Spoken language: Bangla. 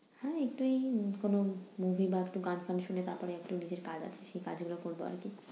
হ্যাঁ একটু এই কোন movie বা একটু গান টান শুনে তারপরে একটু নিজের কাজ আছে, সেই কাজগুলো করবো আরকি।